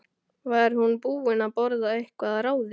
Var hún búin að borða eitthvað að ráði?